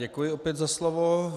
Děkuji opět za slovo.